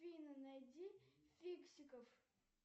афина найди фиксиков